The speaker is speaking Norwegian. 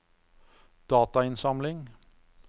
datainnsamling